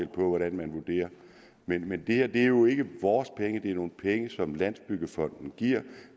på hvordan man vurderer men men det her er jo ikke vores penge det er nogle penge som landsbyggefonden giver og